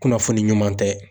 Kunnafoni ɲuman tɛ.